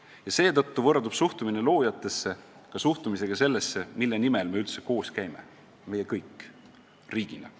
Ja seetõttu võrdub suhtumine loojatesse ka suhtumisega sellesse, mille nimel me üldse koos käime – meie kõik, riigina.